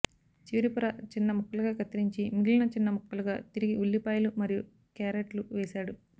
చివరి పొర చిన్న ముక్కలుగా కత్తిరించి మిగిలిన చిన్న ముక్కలుగా తరిగి ఉల్లిపాయలు మరియు క్యారట్లు వేసాడు